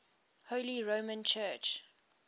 holy roman church